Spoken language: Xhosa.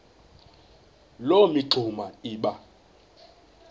loo mingxuma iba